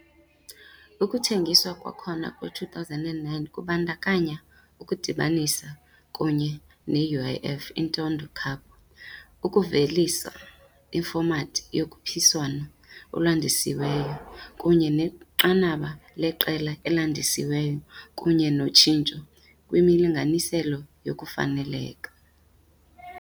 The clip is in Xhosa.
Ukuthengiswa kwakhona kwe-2009 kubandakanya ukudibanisa kunye ne- UEFA Intertoto Cup, ukuvelisa ifomathi yokhuphiswano olwandisiweyo, kunye nenqanaba leqela elandisiweyo kunye noshintsho kwimilinganiselo yokufaneleka.